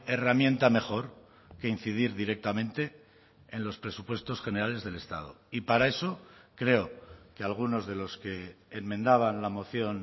herramienta mejor que incidir directamente en los presupuestos generales del estado y para eso creo que algunos de los que enmendaban la moción